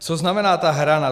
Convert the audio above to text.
Co znamená ta hrana?